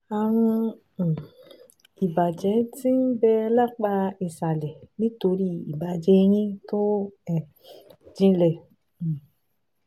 Ààrùn um ìbàjẹ́ tí ń bẹ lápá ìsàlẹ̀ nítorí ìbàjẹ́ eyín tó um jinlẹ̀ um